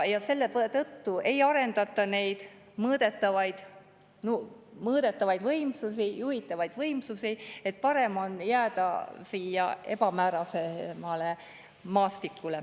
Ja selle tõttu ei arendata neid mõõdetavaid, juhitavaid võimsusi, parem on jääda siia ebamäärasemale maastikule.